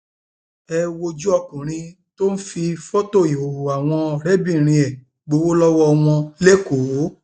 ẹ wojú ọkùnrin tó ń fi fọtò ìhòòhò àwọn ọrẹbìnrin ẹ gbowó lọwọ wọn lẹkọọ